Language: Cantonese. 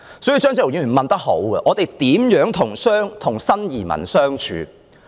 所以，張超雄議員問得好：我們如何與新移民相處？